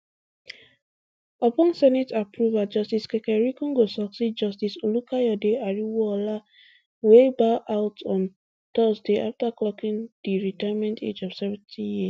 upon senate approval justice kekereekun go succeed justice olukayode ariwoola wey bow out on thursday after clocking di retirement age of seventy years